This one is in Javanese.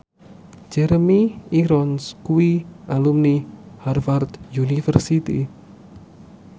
Jeremy Irons kuwi alumni Harvard university